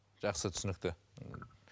жақсы түсінікті